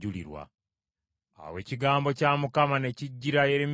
Awo ekigambo kya Mukama ne kijjira Yeremiya nti,